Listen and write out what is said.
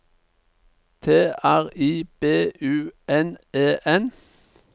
T R I B U N E N